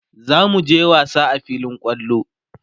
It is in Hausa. zamuje wasa a filin kwallo